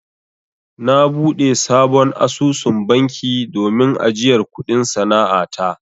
Na buɗe sabon asusun banki domin ajiyar kuɗin sana'a ta.